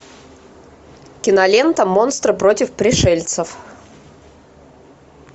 кинолента монстры против пришельцев